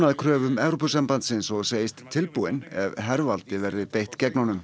kröfum Evrópusambandsins og segist tilbúinn ef hervaldi verði beitt gegn honum